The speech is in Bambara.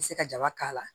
I bɛ se ka jaba k'a la